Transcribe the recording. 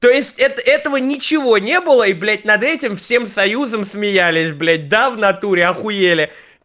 то есть это этого ничего не было и блять над этим всем союзом смеялись блять да в натуре ахуели